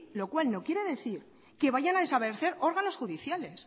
lo cual no quiere decir que vayan a desaparecer órganos judiciales